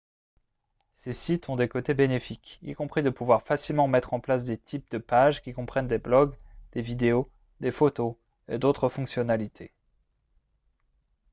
ces sites ont des côtés bénéfiques y compris de pouvoir facilement mettre en place des types de page qui comprennent des blogs des vidéos des photos et d'autres fonctionnalités